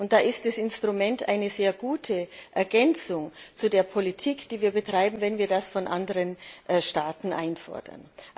Und da ist das Instrument eine sehr gute Ergänzung zu der Politik, die wir betreiben, wenn wir das von anderen Staaten einfordern.